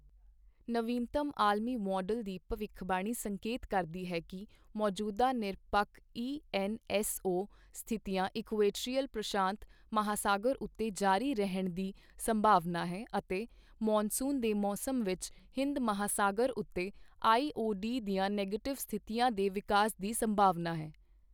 ਨਵੀਨਤਮ ਆਲਮੀ ਮਾੱਡਲ ਦੀ ਭਵਿੱਖਬਾਣੀ ਸੰਕੇਤ ਕਰਦੀ ਹੈ ਕਿ ਮੌਜੂਦਾ ਨਿਰਪੱਖ ਈਐਨਐਸਓ ਸਥਿਤੀਆਂ ਇਕੁਆਟੋਰੀਅਲ ਪ੍ਰਸ਼ਾਂਤ ਮਹਾਸਾਗਰ ਉੱਤੇ ਜਾਰੀ ਰਹਿਣ ਦੀ ਸੰਭਾਵਨਾ ਹੈ ਅਤੇ ਮਾਨਸੂਨ ਦੇ ਮੌਸਮ ਵਿੱਚ ਹਿੰਦ ਮਹਾਸਾਗਰ ਉੱਤੇ ਆਈਓਡੀ ਦੀਆਂ ਨਿਗੇਟਿਵ ਸਥਿਤੀਆਂ ਦੇ ਵਿਕਾਸ ਦੀ ਸੰਭਾਵਨਾ ਹੈ।